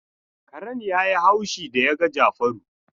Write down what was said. Karen ya yi haushi da ya ga Jafaru.